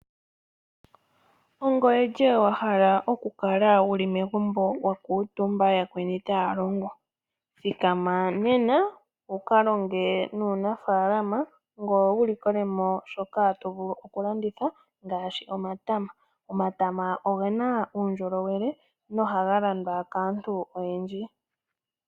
Ongoye lye wahala okukala wuli megumbo wakuutumba yakweni taya longo . Thikama nena wukalonge nuunafaalama ngoye wulikole mo shoka tovulu okulanditha ngaashi omatama. Omatama ogena uundjolowele nohaga landwa kaantu oyendji.